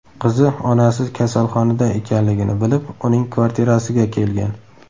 Qizi onasi kasalxonada ekanligini bilib, uning kvartirasiga kelgan.